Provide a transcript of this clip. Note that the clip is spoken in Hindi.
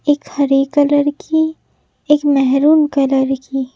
एक हरे कलर की एक मेहरून कलर की।